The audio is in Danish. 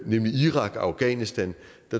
nemlig irak og afghanistan